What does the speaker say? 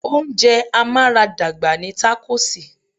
Oúnjẹ amaradagba ni takosì.